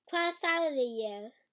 Hvað sagði ég??